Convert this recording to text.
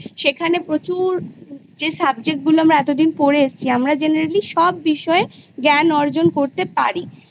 সেখানে প্রচুর যে Subject গুলো আমরা এতোদিনা পরে এসছি আমরা Generally সব বিষয় জ্ঞান অর্জন করতে পারি